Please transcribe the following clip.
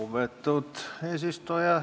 Lugupeetud eesistuja!